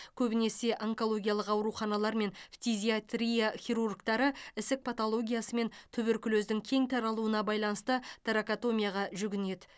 көбінесе онкологиялық ауруханалар мен фтизиатрия хирургтары ісік патологиясы мен туберкулездің кең таралуына байланысты торакотомияға жүгінеді